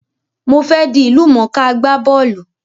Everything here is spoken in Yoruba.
Mo fe dí ìlúmọ̀ká agbá bọ́lù